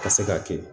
Ka se ka kɛ